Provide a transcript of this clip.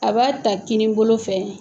A b'a ta kinin bolo fɛ